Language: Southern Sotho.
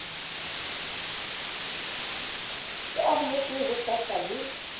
e amohetswe ho sasa le